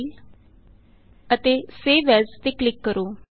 file ਅਤੇ save as ਤੇ click ਕਰੋ